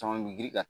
Caman mi girin kan